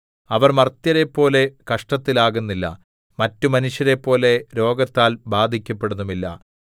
അവർ മർത്യരെപ്പോലെ കഷ്ടത്തിൽ ആകുന്നില്ല മറ്റു മനുഷ്യരെപ്പോലെ രോഗത്താൽ ബാധിക്കപ്പെടുന്നതുമില്ല